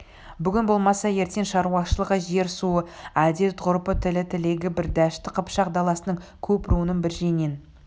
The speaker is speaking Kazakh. бүгін болмаса ертең шаруашылығы жер-суы әдет-ғұрпы тілі тілегі бір дәшті қыпшақ даласының көп руының бір жеңнен